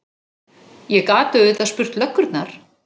Ég gat auðvitað spurt löggurnar.